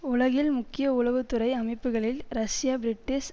உலகில் முக்கிய உளவு துறை அமைப்புக்களில் ரஷ்ய பிரிட்டிஷ்